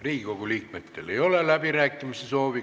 Riigikogu liikmetel ei ole läbirääkimiste soovi.